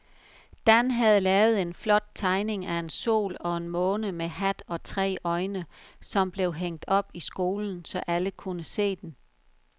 Dan havde lavet en flot tegning af en sol og en måne med hat og tre øjne, som blev hængt op i skolen, så alle kunne se den.